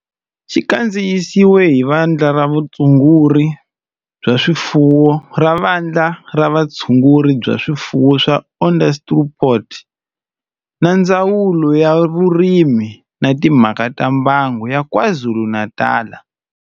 Xi kandziyisiwe hi Vandla ra Vutshunguri bya swifuwo ra Vandla ra Vutshunguri bya swifuwo ra Onderstepoort na Ndzawulo ya Vurimi na Timhaka ta Mbango ya KwaZulu-Natal.